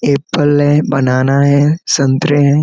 ऐ फल है बनाना है संतरे है।